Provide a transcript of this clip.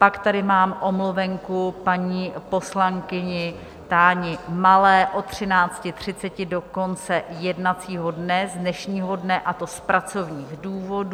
Pak tady mám omluvenku paní poslankyně Táni Malé od 13.30 do konce jednacího dne, z dnešního dne, a to z pracovních důvodů.